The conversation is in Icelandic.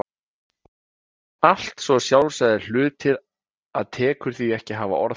Allt svo sjálfsagðir hlutir að tekur því ekki að hafa orð á þeim.